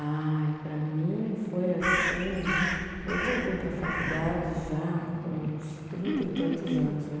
Ai, para mim foi assim, eu voltei para a faculdade já com uns trinta e tantos anos, né?